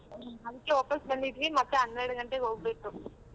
ಹ್ಮ್ ಅದಕ್ಕೆ ವಾಪಾಸ್ ಬಂದಿದ್ವಿ ಮತ್ತೆ ಹನ್ನೆರಡ್ ಗಂಟೆಗ್ ಹೋಗ್ಬೇಕು.